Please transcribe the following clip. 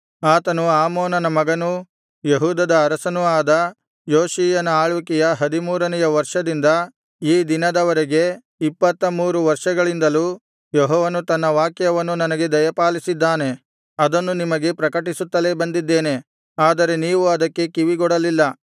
ಆತನು ಆಮೋನನ ಮಗನೂ ಯೆಹೂದದ ಅರಸನೂ ಆದ ಯೋಷೀಯನ ಆಳ್ವಿಕೆಯ ಹದಿಮೂರನೆಯ ವರ್ಷದಿಂದ ಈ ದಿನದವರೆಗೆ ಇಪ್ಪತ್ತಮೂರು ವರ್ಷಗಳಿಂದಲೂ ಯೆಹೋವನು ತನ್ನ ವಾಕ್ಯವನ್ನು ನನಗೆ ದಯಪಾಲಿಸಿದ್ದಾನೆ ಅದನ್ನು ನಿಮಗೆ ಪ್ರಕಟಿಸುತ್ತಲೇ ಬಂದಿದ್ದೇನೆ ಆದರೆ ನೀವು ಅದಕ್ಕೆ ಕಿವಿಗೊಡಲಿಲ್ಲ